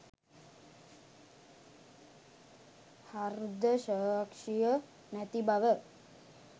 හර්දසාක්ෂිය නැති බව